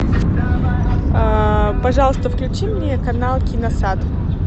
пожалуйста включи мне канал киносад